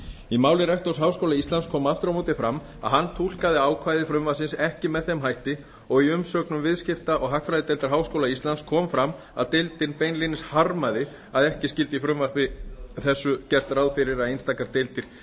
í máli rektors háskóla íslands kom aftur á móti fram að hann túlkaði ákvæði frumvarpsins ekki með þeim hætti og í umsögn viðskipta og hagfræðideildar háskóla íslands kom fram að deildin beinlínis harmaði að ekki skyldi í frumvarpi þessu gert ráð fyrir að einstakar deildir